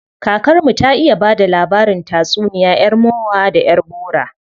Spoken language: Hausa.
Kakar mu ta iya bada labarin tatsuniya yar mowa da yar bowa.